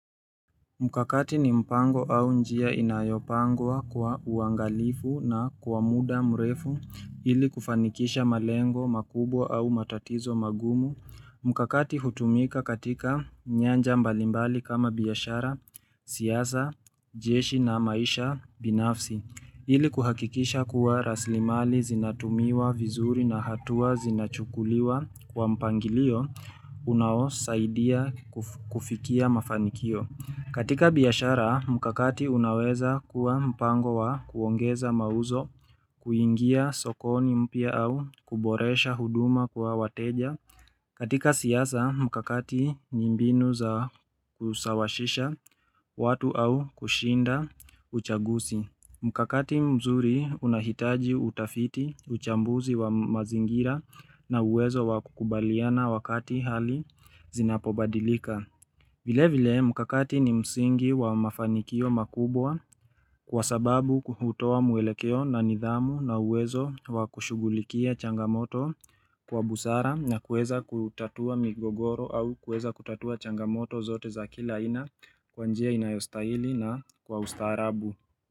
Mkakati ni mpango au njia inayopangwa kwa uangalifu na kwa muda mrefu ili kufanikisha malengo makubwa au matatizo magumu. Mkakati hutumika katika nyanja mbalimbali kama biashara, siasa, jeshi na maisha binafsi ili kuhakikisha kuwa rasirimali zinatumiwa vizuri na hatua zinachukuliwa kwa mpangilio unaosaidia kufikia mafanikio. Katika biashara, mkakati unaweza kuwa mpango wa kuongeza mauzo, kuingia sokoni mpya au kuboresha huduma kwa wateja. Katika siasa, mkakati ni mbinu za kusawasisha watu au kushinda uchaguzi. Mkakati mzuri unahitaji utafiti, uchambuzi wa mazingira na uwezo wa kukubaliana wakati hali zinapobadilika. Vile vile mkakati ni msingi wa mafanikio makubwa kwa sababu hutoa mwelekeo na nidhamu na uwezo wa kushughulikia changamoto kwa busara na kueza kutatua migogoro au kuweza kutatua changamoto zote za kila aina kwa njia inayostahili na kwa ustaharabu.